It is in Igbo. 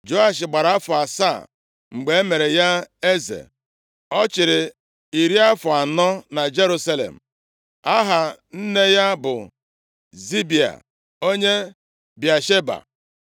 Joash gbara afọ asaa mgbe e mere ya eze, ọ chịrị iri afọ anọ na Jerusalem. Aha nne ya bụ Zibịa onye Bịasheba.